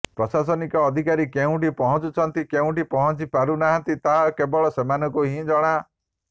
ପ୍ରଶାସନିକ ଅଧିକାରୀ କେଉଁଠି ପହଞ୍ଚୁଛନ୍ତି କେଉଁଠି ପହଞ୍ଚି ପାରୁନାହାନ୍ତି ତାହା କେବଳ ସେମାନଙ୍କୁ ହିଁ ଜଣା